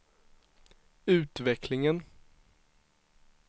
utvecklingen